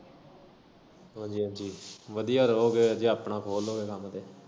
ਵਧੀਆ ਜੀ ਵਧੀਆ ਰਹੋਗੇ ਜੇ ਆਪਣਾ ਖੋਲ ਲਓਗੇ ਕੰਮ ਤੇ।